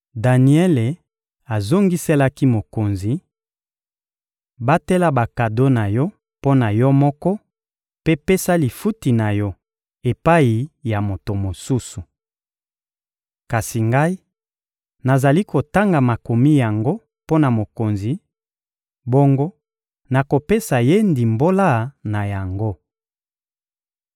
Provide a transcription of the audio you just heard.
Daniele azongiselaki mokonzi: — Batela bakado na yo mpo na yo moko mpe pesa lifuti na yo epai ya moto mosusu! Kasi ngai, nazali kotanga makomi yango mpo na mokonzi; bongo, nakopesa ye ndimbola na yango.